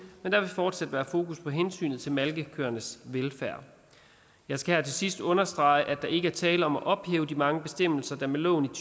men der vil fortsat være fokus på hensynet til malkekøernes velfærd jeg skal her til sidst understrege at der ikke er tale om at ophæve de mange bestemmelser der med loven